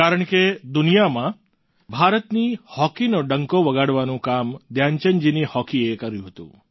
કારણ કે દુનિયામાં ભારતની હોકીનો ડંકો વગાડવાનું કામ ધ્યાનચંદજીની હોકી એ કર્યું હતું